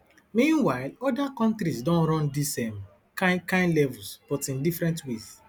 meanwhile oda kontris don run dis um kain kain levels but in different ways